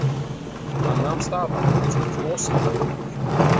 Hann nam staðar, eins og frosinn við gólfið.